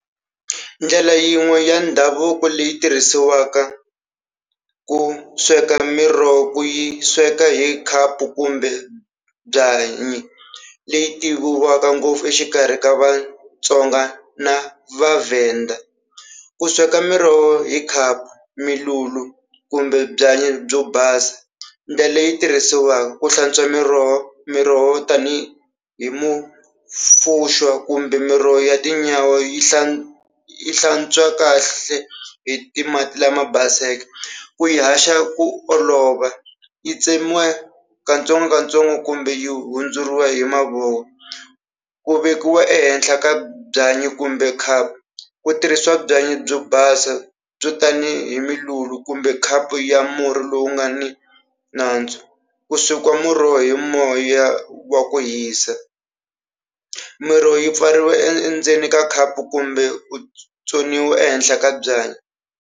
Ndlela yin'we ya ndhavuko leyi tirhisiwaka ku sweka miroho ku yi sweka hi khapu kumbe byanyi leyi tiviwaka ngopfu exikarhi ka Vatsonga na va Vavhenda. Ku sweka miroho hi khapu kumbe byanyi byo basa ndlela leyi tirhisiwaka ku hlantswa miroho miroho tanihi mufuso kumbe miroho ya tinyawa yi yi hlantswa kahle hi ti mati lama baseke ku yi haxa ku olova yi tsemiwa katsongokatsongo kumbe yi hundzuriwa hi mavoko ku vekiwa ehenhla ka byanyi kumbe khapu ku tirhisiwa byanyi byo basa byo tanihi kumbe khapu ya murhi lowu nga ni nandzu ku swekiwa muroho hi moya wa ku hisa. Miroho yi pfariwa e endzeni ka khapu kumbe ehenhla ka byanyi.